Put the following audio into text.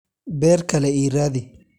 Beer kale ii raadi.